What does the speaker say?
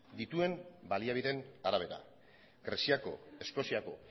dituen baliabideen arabera greziako eskoziako